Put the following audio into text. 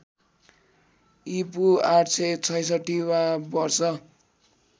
ईपू ८६६ वा वर्ष